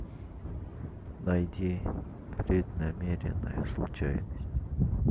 найди преднамеренная случайность